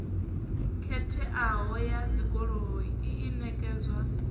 khetheaho ya dzigoloi i ṋekedzwa